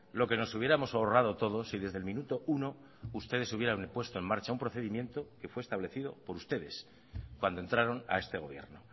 lo que nos hubiéramos ahorrado todos si desde el minuto uno ustedes hubieran puesto en marcha un procedimiento que fue establecido por ustedes cuando entraron a este gobierno